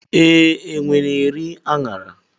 Ee, enwe na-eri aṅara.